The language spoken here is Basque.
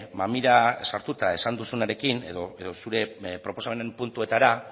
mamira sartuta esan duzunarekin edo zure proposamenen puntuetara